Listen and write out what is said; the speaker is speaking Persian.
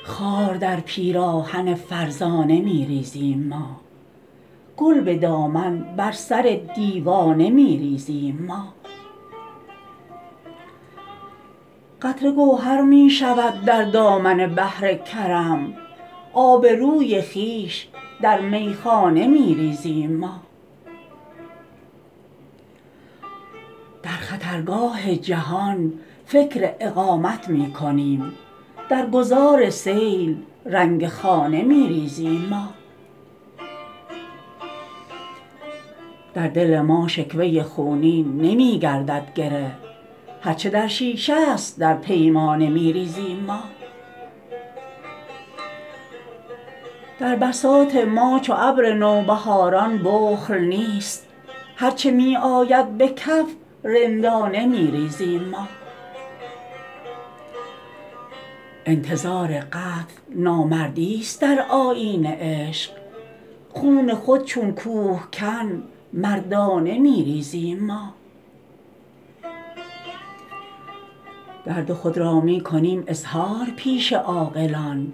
خار در پیراهن فرزانه می ریزیم ما گل به دامن بر سر دیوانه می ریزیم ما قطره گوهر می شود در دامن بحر کرم آبروی خویش در میخانه می ریزیم ما در خطرگاه جهان فکر اقامت می کنیم در گذار سیل رنگ خانه می ریزیم ما در دل ما شکوه خونین نمی گردد گره هر چه در شیشه است در پیمانه می ریزیم ما در بساط ما چو ابر نوبهاران بخل نیست هر چه می آید به کف رندانه می ریزیم ما انتظار قتل نامردی است در آیین عشق خون خود چون کوهکن مردانه می ریزیم ما درد خود را می کنیم اظهار پیش عاقلان